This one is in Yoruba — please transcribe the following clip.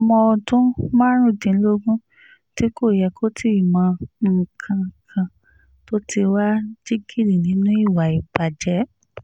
ọmọ ọdún márùndínlógún tí kò yẹ kó tì í mọ nǹkan kan tó ti wàá jingiri nínú ìwà ìbàjẹ́